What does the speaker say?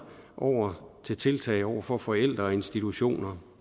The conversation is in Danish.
over til tiltag over for forældre og institutioner